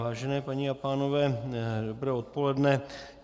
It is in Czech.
Vážené paní a pánové, dobré odpoledne.